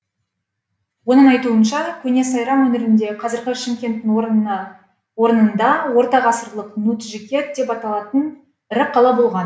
оның айтуынша көне сайрам өңірінде қазіргі шымкенттің орнында ортағасырлық нуджикет деп аталатын ірі қала болған